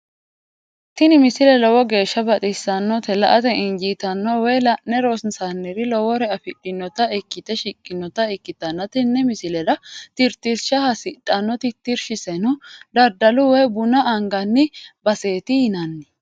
tini misile lowo geeshsha baxissannote la"ate injiitanno woy la'ne ronsannire lowore afidhinota ikkite shiqqinota ikkitanna tini misilera tittirsha hasidhanno tirtirshiseno daddalu woy buna anganni baseeti yinanni.